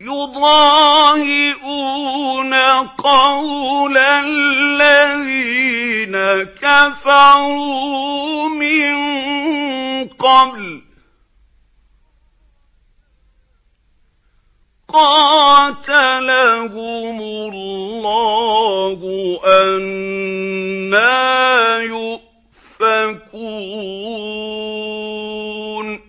يُضَاهِئُونَ قَوْلَ الَّذِينَ كَفَرُوا مِن قَبْلُ ۚ قَاتَلَهُمُ اللَّهُ ۚ أَنَّىٰ يُؤْفَكُونَ